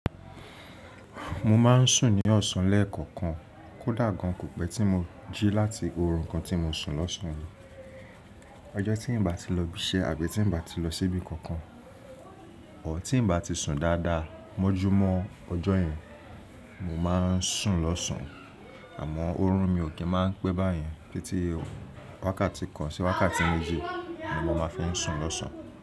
Mo máa ń sùn ní ọ̀sán lẹ́ẹ̀kọ̀kan, kódà gan kò pẹ́ tí mo jí láti oorun kan tí mo sùn lọ́sàn-án. Ọjọ́ tí n bá ti lọ ibi iṣẹ́ àbí tí n bá ti lọ síbi kankan, ọ̀ tí n bá ti sùn dáadáa mọ́júmọ́ ọjọ́ yẹn, mo máa ń sùn lọ́sàn-án. Àmọ́ oorun mi ò kí máa ń pẹ́ báyìí, títí wákàtí kan sí wákàtí méjì ni mo máa fi ń sùn lọ́sàn-án.